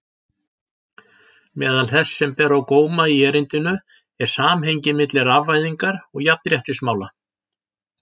Meðal þess sem ber á góma í erindinu er samhengið milli rafvæðingar og jafnréttismála.